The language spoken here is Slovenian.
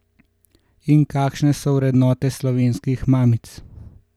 In kakšne so vrednote slovenskih mamic?